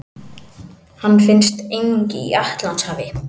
Hann finnst einnig í Atlantshafi.